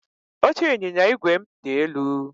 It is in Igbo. Oche ịnyịnya igwe m dị elu